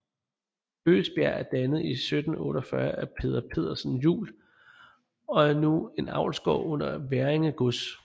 Bøgebjerg er dannet i 1748 af Peder Pedersen Juel og er nu en avlsgård under Hverringe Gods